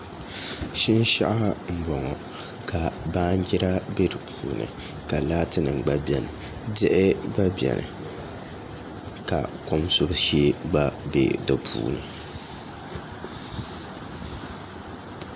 Shinshaɣu n bɔŋɔ ka baanjira bɛ di puuni ka laati nim gba biɛni diɣi gba biɛni ka kom subu shee gba bɛ di puuni